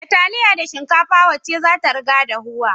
Da taliya da shikafa wacce zata riga dahuwa